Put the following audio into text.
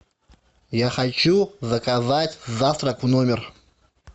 я хочу заказать завтрак в номер